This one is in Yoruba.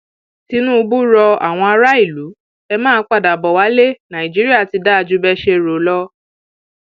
tinubu ro àwọn ará ìlú e máa padà bó wálé nàìjíríà ti dáa jù bẹẹ ṣe rò lọ